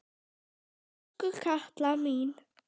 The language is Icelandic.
Elsku Katla mín.